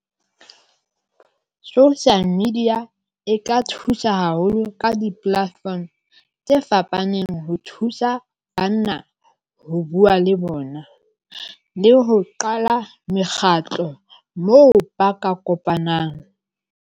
Social media e ka thusa haholo ka di-platform tse fapaneng ho thusa banna ho bua le bona, le ho qala mekgatlo moo ba ka kopanang.